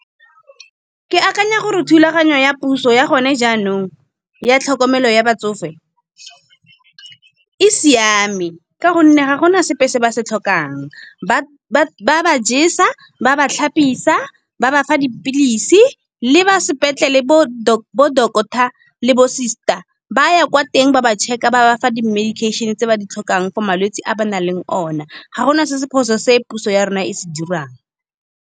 Ke akanya gore thulaganyo ya puso ya gone jaanong, ya tlhokomelo ya batsofe e siame. Ka gonne ga gona sepe se ba se tlhokang, ba ba ba jesa, ba ba tlhapisa, ba bafa dipilisi le ba sepetlele bo doctor le bo sister ba ya kwa teng ba ba check-a. Ba ba fa di-medication tse ba di tlhokang for malwetse a ba nang le one, ga gona se se phoso se puso ya rona e se dirang.